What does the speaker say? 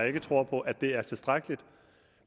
ikke tror på at det er tilstrækkeligt